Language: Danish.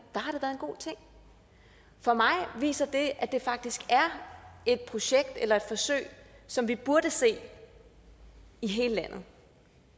har en god ting for mig viser det at det faktisk er et projekt eller et forsøg som vi burde se i hele landet